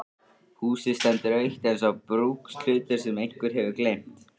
Húsið stendur autt eins og brúkshlutur sem einhver hefur gleymt.